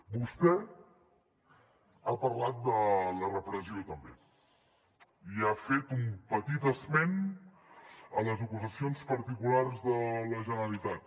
vostè ha parlat de la repressió també i ha fet un petit esment a les acusacions particulars de la generalitat